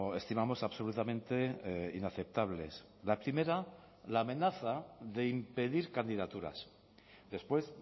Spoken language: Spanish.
estimamos absolutamente inaceptables la primera la amenaza de impedir candidaturas después